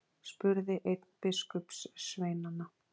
spurði einn biskupssveinanna.